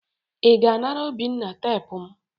ị ga anara obinna teepu m?